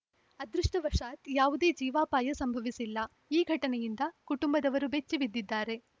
ಅದೃಷ್ಟವಶಾತ್‌ ಯಾವುದೇ ಜೀವಾಪಾಯ ಸಂಭವಿಸಿಲ್ಲ ಈ ಘಟನೆಯಿಂದ ಕುಟುಂಬದವರು ಬೆಚ್ಚಿ ಬಿದ್ದಿದ್ದಾರೆ